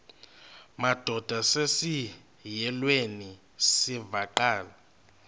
madod asesihialweni sivaqal